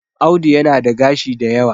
Audu yana da gashi da yawa